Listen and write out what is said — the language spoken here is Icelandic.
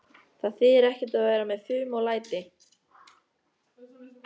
Það þýðir ekkert að vera með fum og læti.